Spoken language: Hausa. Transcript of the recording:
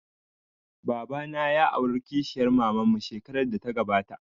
Baba na ya aura kishiyar maman mu shekarar da ta gabata